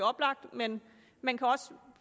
oplagt men man kan også